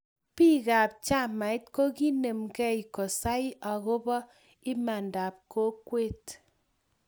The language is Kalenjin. Biik ab chamait kokinemke kosai akobo imanda ab kokwet